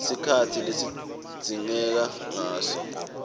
sikhatsi lesidzingeka ngaso